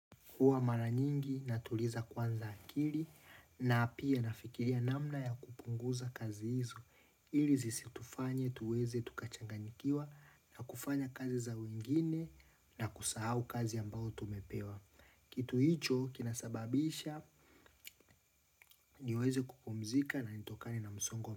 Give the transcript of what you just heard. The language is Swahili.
Huwa mara nyingi natuliza kwanza akili na pia nafikiria namna ya kupunguza kazi hizo. Ili zisitufanye tuweze tukachanganyikiwa na kufanya kazi za wengine na kusahau kazi ambayo tumepewa. Kitu hicho kinasababisha niweze kupumzika na nitokane na msongo.